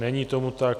Není tomu tak.